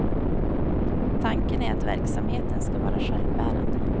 Tanken är att verksamheten ska vara självbärande.